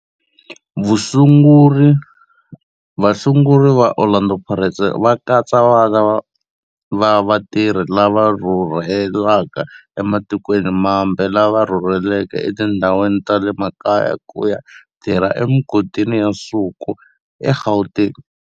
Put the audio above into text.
Vasunguri va Orlando Pirates va katsa vana va vatirhi lava rhurhelaka ematikweni mambe lava rhurheleke etindhawini ta le makaya ku ya tirha emigodini ya nsuku eGauteng.